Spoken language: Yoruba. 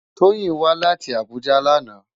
Toyin wá láti Abuja làná